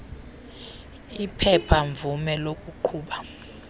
iphepha mvume lokuqhuba